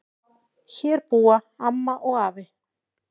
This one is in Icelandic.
Hér búa amma og afi.